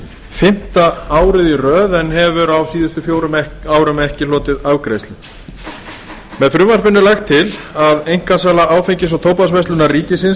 fimmta árið í röð en hefur á síðustu fjórum árum ekki hlotið afgreiðslu með frumvarpinu er lagt til að einkasala áfengis og tóbaksverslunar ríkisins